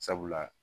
Sabula